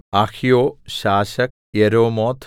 അഹ്യോ ശാശക് യെരോമോത്ത്